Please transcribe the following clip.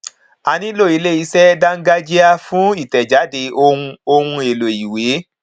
a nílò ilé iṣẹ dángájíá fún ìtẹjáde ohun ohun èlò ìwé